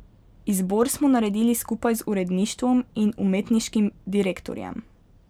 Izbor smo naredili skupaj z uredništvom in umetniškim direktorjem.